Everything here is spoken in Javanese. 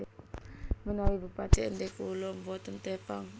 Menawi bupati Ende kula mboten Tepang